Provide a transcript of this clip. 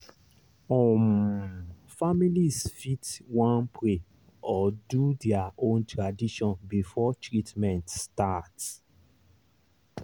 ome families fit wan pray or do their own tradition before treatment start.